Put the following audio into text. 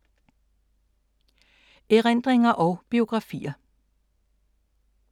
Erindringer og biografier